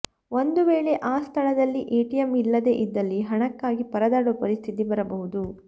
ಒಂದು ವೇಳೆ ಆ ಸ್ಥಳದಲ್ಲಿ ಎಟಿಎಂ ಇಲ್ಲದೇ ಇದ್ದಲ್ಲಿ ಹಣಕ್ಕಾಗಿ ಪರದಾಡುವ ಪರಿಸ್ಥಿತಿ ಬರಬಹುದು